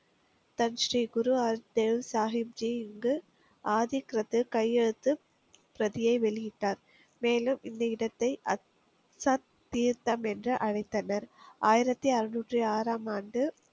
தன் ஸ்ரீ குரு அல்தேவ் சாகிம்ஜி இங்கு ஆதிக்கிறது கையெழுத்து பிரதியை வெளியிட்டார் மேலும் இந்த இடத்தை, அத் சத் தீர்த்தம் என்று அழைத்தனர் ஆயிரத்தி அறுநூற்றி ஆறாம் ஆண்டு